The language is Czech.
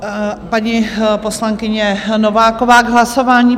Paní poslankyně Nováková k hlasování.